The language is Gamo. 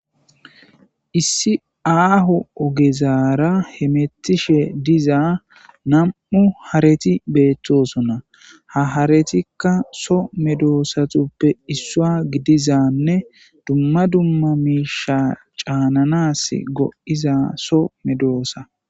Issi aaho ogezara hametishe diza nam'u hareti beetosina. Ha haretika soo medosatuppe issiuwa gidizanne dumma dumma miishsha caananassi go'iza soo medosa.